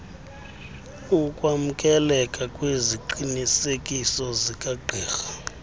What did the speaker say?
ukwamkeleka kweziqinisekiso zikagqirha